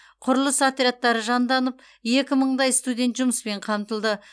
құрылыс отрядтары жанданып екі мыңдай студент жұмыспен қамтылды